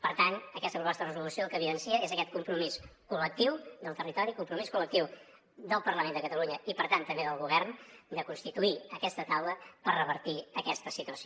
per tant aquesta proposta de resolució el que evidencia és aquest compromís collectiu del territori compromís col·lectiu del parlament de catalunya i per tant també del govern de constituir aquesta taula per revertir aquesta situació